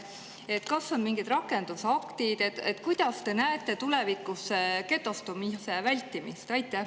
Kas mingid rakendusaktid või kuidas te näete tulevikus getostumise vältimist?